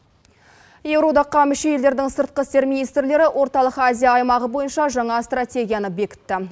еуроодаққа мүше елдердің сыртқы істер министрлері орталық азия аймағы бойынша жаңа стратегияны бекітті